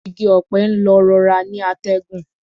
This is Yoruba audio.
Igi ọ̀pẹ ń lọ rọra ni atẹ́gùn